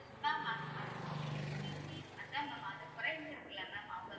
mam அத்~ அத்~ அதான் mam அது குறைஞ்சிருக்கில்ல mam அவுங்க